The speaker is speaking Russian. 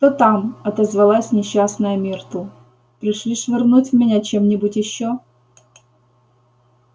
кто там отозвалась несчастная миртл пришли швырнуть в меня чем-нибудь ещё